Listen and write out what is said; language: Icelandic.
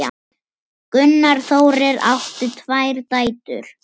Gunnar Þórir átti tvær dætur.